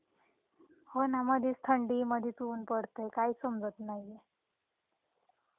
हो ना मधेच थंडी मधेच ऊन पडतंय काही समजत नाहीये.